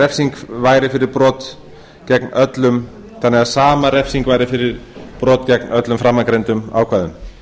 hegningarlaga um kynferðisbrot gegn börnum þannig að sama refsing væri fyrir brot gegn öllum framangreindum ákvæðum